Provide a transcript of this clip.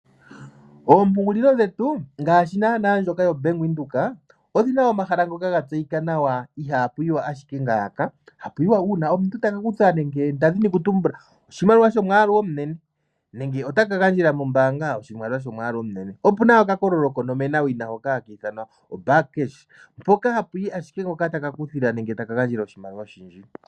Oompungulilo dhetu ngaashi naana ndjoka yoBank Windhoek odhina omahala ngoka ga tseyika nawa ihaapu yi wa ashike ngaaka, hapu yi wa uuna omuntu taka kutha oshimaliwa shomwaalu omunene nenge taka gandja mombaanga oshimaliwa shomwaalu omunene. Opuna okakololo konomenawina(bulk cash) mpoka hapu yi ashike ngoka taka kutha nenge ta gandja oshimaliwa oshindji.